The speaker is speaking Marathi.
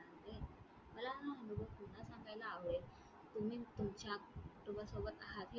मला ना हा अनुभव पुन्हा सांगायला आवडेल. तुम्ही तुमच्या तुमच्यासोबत आहात हे वाटणे